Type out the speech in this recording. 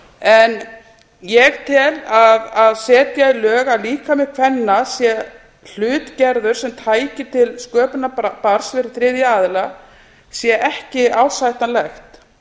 en ég tel að að setja lög um að líkami kvenna sé hlutgerður sem tæki til sköpunar barns fyrir þriðja aðila sé ekki ásættanlegt